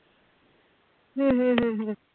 हम्म हम्म हम्म